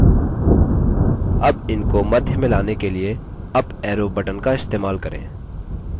अब इनको मध्य में लाने लिए अप arrow बटन का इस्तेमाल करें